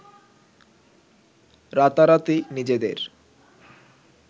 রাতারাতি নিজেদের